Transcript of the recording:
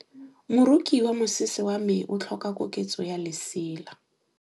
Moroki wa mosese wa me o tlhoka koketsô ya lesela.